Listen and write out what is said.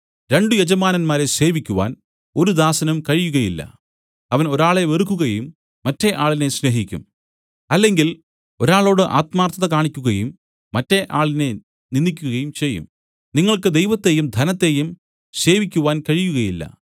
രണ്ടു യജമാനന്മാരെ സേവിക്കുവാൻ ഒരു ദാസനും കഴിയുകയില്ല അവൻ ഒരാളെ വെറുക്കുകയും മറ്റെ ആളിനെ സ്നേഹിക്കും അല്ലെങ്കിൽ ഒരാളോട് ആത്മാർത്ഥത കാണിക്കുകയും മറ്റെ ആളിനെ നിന്ദിക്കുകയും ചെയ്യും നിങ്ങൾക്ക് ദൈവത്തെയും ധനത്തെയും സേവിക്കുവാൻ കഴിയുകയില്ല